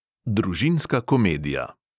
Družinska komedija.